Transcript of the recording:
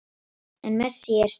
En Messi er stórkostlegur